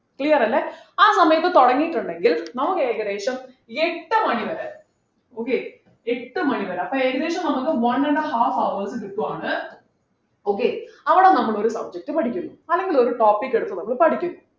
clear അല്ലെ ആ സമയത്ത് തുടങ്ങിയിട്ടുണ്ടെങ്കിൽ നമുക്ക് ഏകദേശം എട്ടു മണിവരെ okay എട്ടു മണിവരെ അപ്പൊ ഏകദേശം നമ്മക്ക് one and half hours കിട്ടുവാണ് okay അവിടെ നമ്മൾ ഒരു subject പഠിക്കുന്നു അല്ലെങ്കിൽ ഒരു topic എടുത്ത് നമ്മള് പഠിക്കുന്നു